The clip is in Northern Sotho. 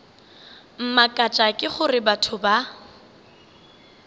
mmakatša ke gore batho ba